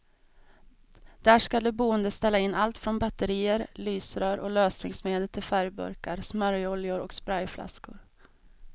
Där skall de boende ställa in allt från batterier, lysrör och lösningsmedel till färgburkar, smörjoljor och sprayflaskor.